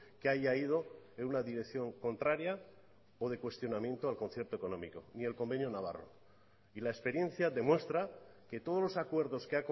que haya ido en una dirección contraria o de cuestionamiento al concierto económico ni el convenio navarro y la experiencia demuestra que todos los acuerdos que